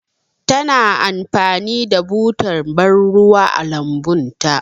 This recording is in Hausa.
Ta na amfani da butar bar ruwa a lambun ta.